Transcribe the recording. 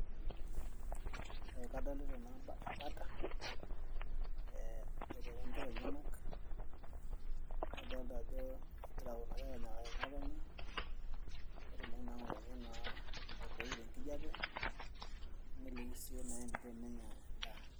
Ee kadolita naa embata ee eboitare inkera enyanak adolita ajo kegira kuna kera aanyikaki ng'otonye peetumoki ng'otonye naa aiboi tenkijape neliki sii eniko naa enenya endaa.